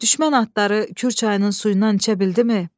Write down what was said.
Düşmən atları Kür çayının suyundan içə bildimi?